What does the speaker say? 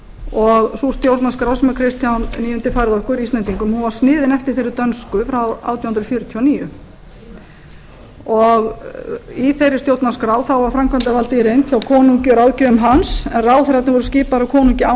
og sú stjórnarskrá sem kristján níundi færði okkur íslendingum var sniðin eftir þeirri dönsku frá átján hundruð fjörutíu og níu í þeirri stjórnarskrá var framkvæmdarvaldið í reynd hjá konungi og ráðgjöfum hans en ráðherrarnir voru skipaðir af konungi án